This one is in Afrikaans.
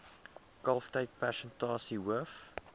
kalftyd persentasie hoof